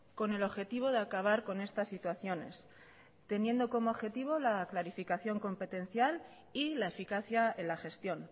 con el objetivo de acabar con estas situaciones teniendo como objetivo la clarificación competencial y la eficacia en la gestión